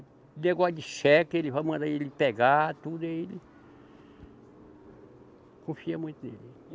Negócio de cheque, ele vai mandar ele pegar, tudo ele. Confia muito nele.